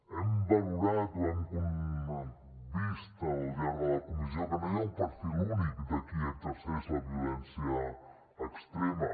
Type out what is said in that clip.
hem valorat ho hem vist al llarg de la comissió que no hi ha un perfil únic de qui exerceix la violència extrema